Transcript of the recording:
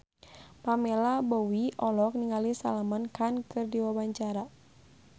Pamela Bowie olohok ningali Salman Khan keur diwawancara